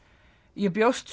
ég bjóst